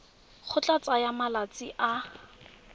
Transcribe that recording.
go tla tsaya malatsi a